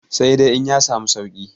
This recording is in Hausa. sai dai in ya samu sauki